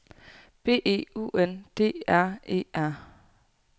B E U N D R E R